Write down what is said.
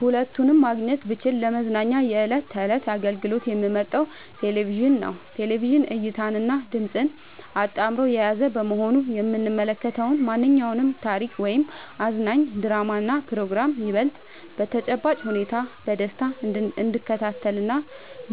ሁለቱንም ማግኘት ብችል ለመዝናኛ የዕለት ተዕለት አገልግሎት የምመርጠው ቴሌቪዥንን ነው። ቴሌቪዥን እይታንና ድምጽን አጣምሮ የያዘ በመሆኑ የምንመለከተውን ማንኛውንም ታሪክ ወይም አዝናኝ ድራማና ፕሮግራም ይበልጥ በተጨባጭ ሁኔታ በደስታ እንድንከታተልና